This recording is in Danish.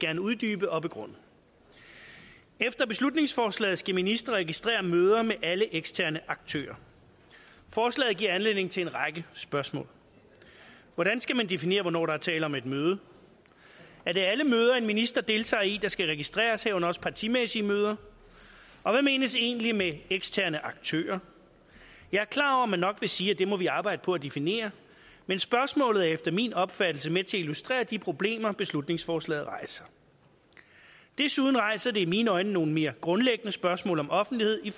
gerne uddybe og begrunde efter beslutningsforslaget skal ministre registrere møder med alle eksterne aktører forslaget giver anledning til en række spørgsmål hvordan skal man definere hvornår der er tale om et møde er det alle møder en minister deltager i der skal registreres herunder også partimæssige møder og hvad menes egentlig med eksterne aktører jeg er klar over at man nok vil sige at det må vi arbejde på at definere men spørgsmålet er efter min opfattelse med til at illustrere de problemer beslutningsforslaget rejser desuden rejser det i mine øjne nogle mere grundlæggende spørgsmål om offentlighed i